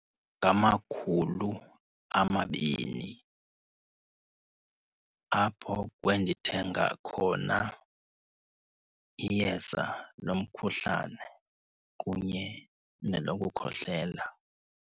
Ngamakhulu amabini apho kwendithenga khona iyeza lomkhuhlane kunye nelokukhohlela.